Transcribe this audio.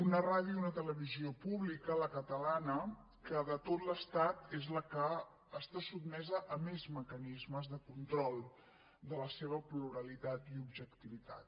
una radiotelevisió pública la catalana que de tot l’estat és la que està sotmesa a més mecanismes de control de la seva pluralitat i objectivitat